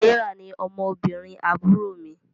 Serah ní ọmọ obìrin àbúrò mí